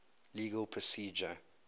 legal procedure